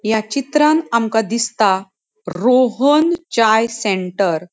या चित्रांन आमका दिसता रोहोन चाइ सेंटर .